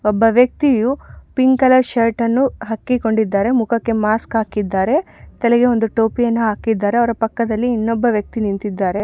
ಒಬ್ಬ ವೆಕ್ತಿಯು pink colour shirt ಅನ್ನು ಹಾಕಿಕೊಂಡಿದ್ದಾರೆ ಮುಕ್ಕಕೆ ಮಾಸ್ಕ್ ಹಾಕಿದ್ದಾರೆ ತಲೆಗೆ ಒಂದು ಟೋಪಿ ಯನ್ನು ಹಾಕಿದ್ದಾರೆ ಅವರ ಪಕ್ಕದಲ್ಲಿ ಇನ್ನೊಬ್ಬ ವೆಕ್ತಿ ನಿಂತಿದ್ದಾರೆ.